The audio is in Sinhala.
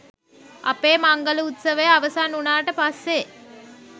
අපේ මංගල උත්සවය අවසන් වුණාට පස්සේ